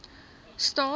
staad